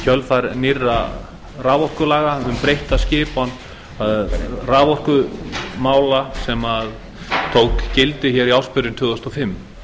kjölfar nýrra raforkulaga um breytta skipan raforkumála sem tók gildi í ársbyrjun tvö þúsund og fimm